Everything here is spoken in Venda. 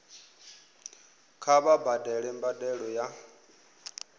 kha vha badele mbadelo ya